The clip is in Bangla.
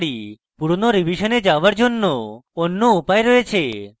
পুরানো revision যাওযার অন্য উপায় রয়েছে